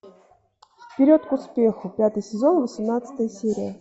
вперед к успеху пятый сезон восемнадцатая серия